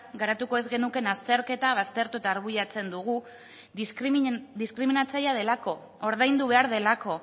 garatuko ez genukeen azterketa baztertu eta arbuiatzen dugu diskriminatzailea delako ordaindu behar delako